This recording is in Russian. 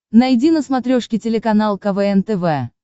найди на смотрешке телеканал квн тв